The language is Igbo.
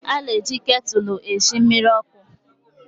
A na-eji ktụlụ esi mmiri ọkụ